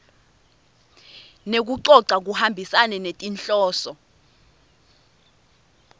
nekucoca kuhambisane netinhloso